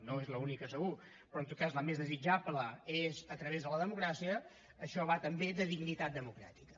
no és l’única segur però en tot cas la més desitjable és a través de la democràcia això va també de dignitat democràtica